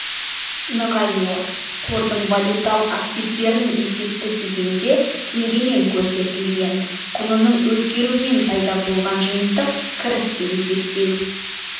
нығаюы қордың валюталық активтерінің есепті кезеңде теңгемен көрсетілген құнының өзгеруімен пайда болған жиынтық кірісті есептеу